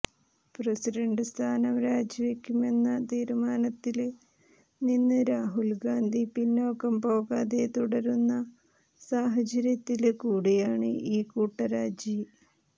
president സ്ഥാനം രാജിവെക്കുമെന്ന തീരുമാനത്തില് നിന്ന് രാഹുല് ഗാന്ധി പിന്നാക്കം പോകാതെ തുടരുന്ന സാഹചര്യത്തില് കൂടിയാണ് ഈ കൂട്ടരാജി